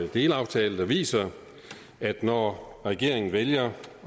delaftale der viser at når regeringen vælger